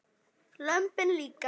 Lömbin líka.